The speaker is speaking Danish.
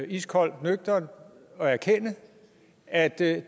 iskoldt og nøgternt at erkende at det